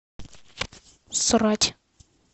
срать